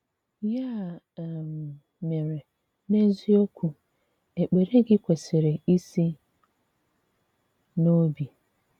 Yà um mèrè, n’eziokwù, èkpèrè gị̀ kwesị̀rì isi n’òbì.